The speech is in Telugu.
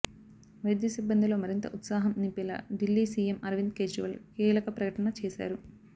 వైద్య సిబ్బందిలో మరింత ఉత్సాహం నింపేలా ఢిల్లీ సీఎం అరవింద్ కేజ్రీవాల్ కీలక ప్రకటన చేశారు